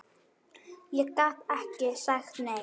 Ég gat ekki sagt nei.